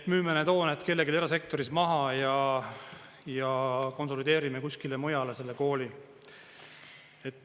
… et müüme need hooned kellelegi erasektoris maha ja konsolideerime kuskile mujale selle kooli.